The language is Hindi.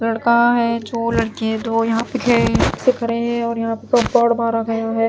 लड़का है जो लड़के दो यहां पे थे मारा गया है।